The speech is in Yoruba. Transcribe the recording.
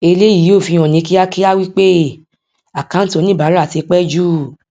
eléyìí yóò fi hàn ní kíákíá wí pé àkáǹtí oníbàárà tí pẹ jù